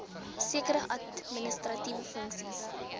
sekere administratiewe funksies